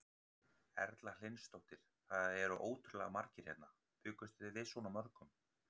Erla Hlynsdóttir: Það eru ótrúlega margir hérna, bjuggust þið við svona mörgum?